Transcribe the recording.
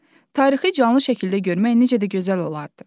Tarixi canlı şəkildə görmək necə də gözəl olardı.